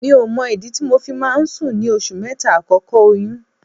Mi ò mọ ìdí tí mo fi máa ń sùn ní oṣù mẹ́ta àkọ́kọ́ oyún.